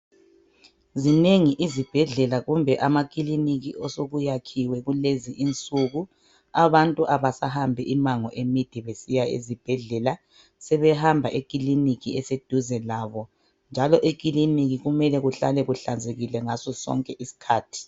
Zinengi izibhedlela kumbe amakiliniki osokuyakhiwe kulezi insuku. Abantu abasahambi imango emide besiya ezibhedlela, sebehamba ekiliniki eseduze labo njalo ekiliniki kumele kuhlanzekile ngaso sonke isikhathi.